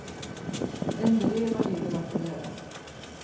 Endelig var livet verd å leve.